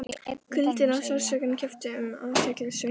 Kuldinn og sársaukinn kepptu um athygli Sveins.